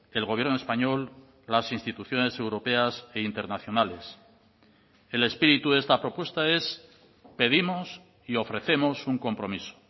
el gobierno español las instituciones europeas e internacionales el espíritu de esta propuesta es pedimos y ofrecemos un compromiso